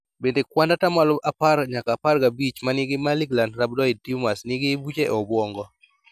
Bende kuand atamalo apar nyaka apar gabich manigi malignant rhabdoid tumors nigi buche e obuongo